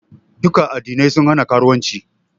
Duka Addinai sun hana karuwanci